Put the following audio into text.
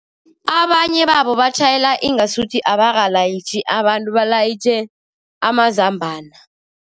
Abanye babo batjhayela ingasuthi abalayitjhi abantu, balayitjhe amazambana.